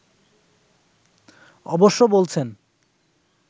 অবশ্য বলছেন